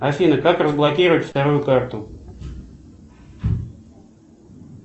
афина как разблокировать вторую карту